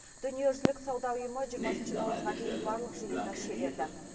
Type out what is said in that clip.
дүниежүзілік сауда ұйымы жиырмасыншы наурызға дейін барлық жиынды шегерді